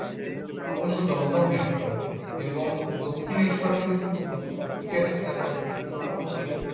ক্রমশ দমদম metro এবং দক্ষিণেশ্বর থেকে শুরু করে ওদিকে রাজারহাট new town অব্দি